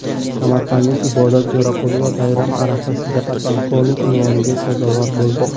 Samarqandlik Ibodat Jo‘raqulova bayram arafasida podpolkovnik unvoniga sazovor bo‘ldi.